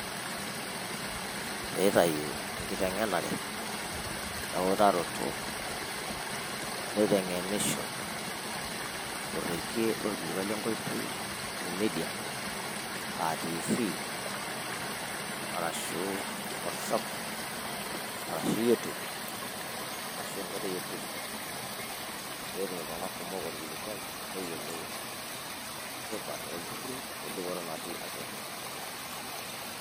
Neitayu enkiteng'enare oo eutaroto neiteng'enisho oregie lorkilikuai lenkoitoi e media aa Tv arashu whatsapp arashu Youtube arashu a enkoitoi e Tiktok pee etum iltunganak kumok orkilikuai neyiolou tipat olturruri o endupoto natii atua.